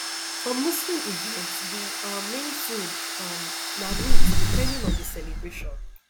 for muslim events di um main food um na meat depending on di celebration